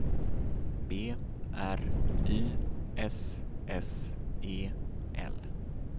B R Y S S E L